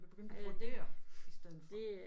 Jeg begyndte at brodere i stedet for